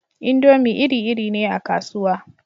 Indomi iri-iri ne a kasuwa